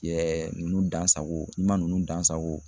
nunnu dansako, ni ma nunnu dansako